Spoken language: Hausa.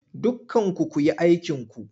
Dukkanku ku yi aikinku!